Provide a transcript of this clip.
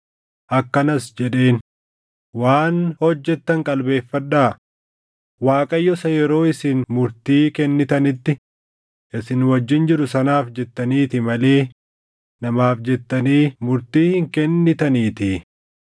Akkanas jedheen; “Waan hojjettan qalbeeffadhaa; Waaqayyo isa yeroo isin murtii kennitanitti isin wajjin jiru sanaaf jettaniiti malee namaaf jettanii murtii hin kennitaniitii.